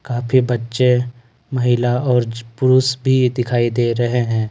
काफी बच्चे महिला और पुरुष भी दिखाई दे रहे है।